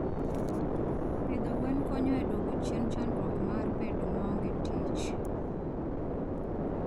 pidho gwen konyo e dwoko chien chandruok mar bedo maonge tich.